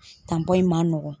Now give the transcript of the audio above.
in ma nɔgɔn.